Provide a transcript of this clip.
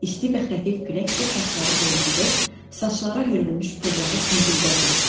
İsti və xəfif külək bu saçları oynadır, saçlara hörülmüş pulları cingildədirdi.